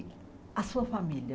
A sua família?